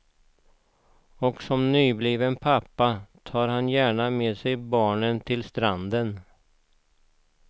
Och som nybliven pappa tar han gärna med barnen till stranden.